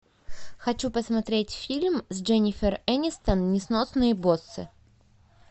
хочу посмотреть фильм с дженнифер энистон несносные боссы